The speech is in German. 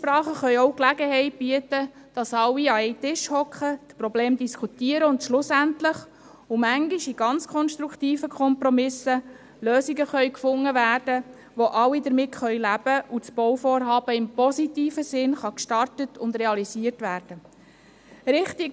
– Einsprachen können auch Gelegenheit bieten, alle an einem Tisch zu versammeln, um die Probleme zu diskutieren und letztlich Lösungen zu finden – manchmal in sehr konstruktiven Kompromissen –, mit denen alle leben können und durch die das Bauvorhaben im positiven Sinn gestartet und realisiert werden kann.